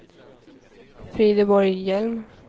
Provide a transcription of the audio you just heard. Frideborg Hjelm